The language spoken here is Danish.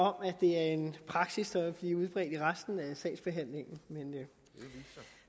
om at det er en praksis der vil blive udbredt til resten af sagsbehandlingen